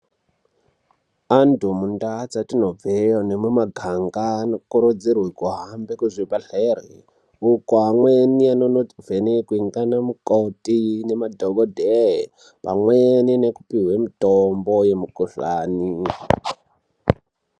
Anthi mundaa dzetinobveyo nemumaganga anokurudzirwa kuhambe kuzvibhedhere uko amweni anonpbhenekqe ngeana mukoti nemadhokodheya pamweni nekupihwe mitombo yemikuhlani.